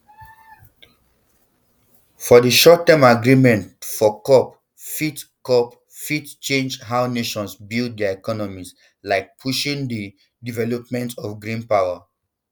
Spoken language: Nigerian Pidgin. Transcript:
for di shortterm agreements for cop fit cop fit change how nations build dia economies like pushing di um development of green power